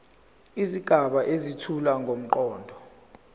izigaba ezethula ngomqondo